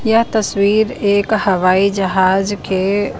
यह तस्वीर एक हवाई जहाज के --